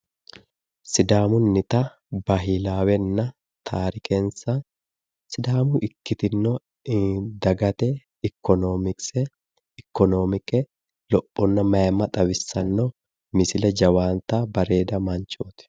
Sidaamunnita bahiilaawenna taarikensa sidaamu ikkitino dagate ikkonoomikse ikkonoomike lophonna dagate mayimma xawissanno misile jawaata bareeda manchooti.